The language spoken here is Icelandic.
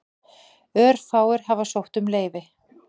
Örfáir hafa sótt um leyfi.